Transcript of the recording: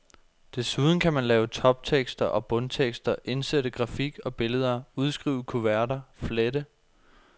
Desuden kan man lave toptekster og bundtekster, indsætte grafik og billeder, udskrive kuverter, flette.